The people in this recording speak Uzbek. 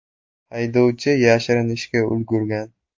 Haydovchi yashirinishga ulgurgan.